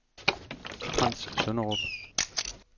Frants Sønderup